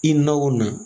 I na o na